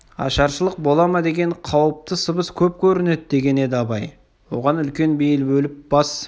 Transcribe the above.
ашаршылық бола ма деген қауіпті сыбыс көп көрінеді деген еді абай оған үлкен бейіл бөліп бас